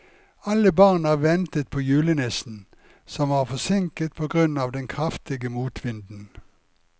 Alle barna ventet på julenissen, som var forsinket på grunn av den kraftige motvinden.